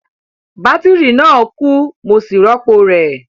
Bátírì náà kú, mo sì rọ́pò rẹ̀